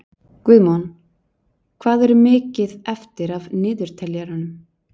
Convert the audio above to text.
Guðmon, hvað er mikið eftir af niðurteljaranum?